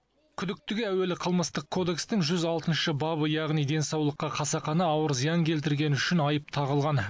күдіктіге әуелі қылмыстық кодекстің жүз алтыншы бабы яғни денсаулыққа қасақана ауыр зиян келтіргені үшін айып тағылған